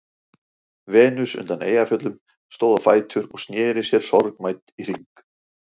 Venus undan Eyjafjöllum stóð á fætur og sneri sér sorgmædd í hring.